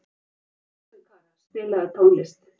Rósinkara, spilaðu tónlist.